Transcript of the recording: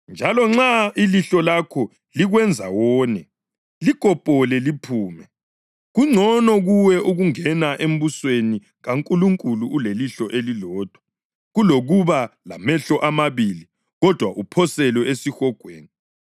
Njalo nxa ilihlo lakho likwenza wone, likopole liphume. Kungcono kuwe ukungena embusweni kaNkulunkulu ulelihlo elilodwa kulokuba lamehlo amabili kodwa uphoselwe esihogweni,